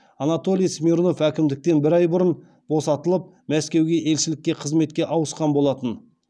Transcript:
анатолий смирнов әкімдіктен бір ай бұрын босатылып мәсекуге елшілікке қызметке ауысқан болатын